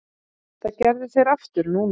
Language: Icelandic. Það gerðu þeir aftur nú.